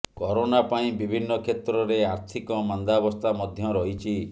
corona ପାଇଁ ବିଭିନ୍ନ କ୍ଷେତ୍ରରେ ଆର୍ଥିକ ମାନ୍ଦାବସ୍ଥା ମଧ୍ୟ ରହିଛି